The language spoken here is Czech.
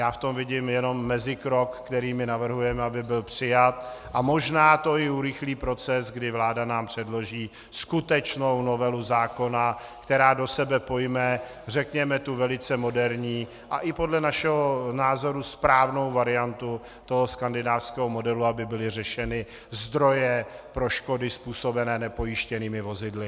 Já v tom vidím jednom mezikrok, který my navrhujeme, aby byl přijat, a možná to i urychlí proces, kdy vláda nám předloží skutečnou novelu zákona, která do sebe pojme, řekněme, tu velice moderní a i podle našeho názoru správnou variantu toho skandinávského modelu, aby byly řešeny zdroje pro škody způsobené nepojištěnými vozidly.